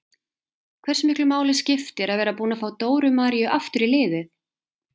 Hversu miklu máli skiptir að vera búin að fá Dóru Maríu aftur í liðið?